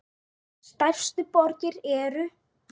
Stærstu borgir eru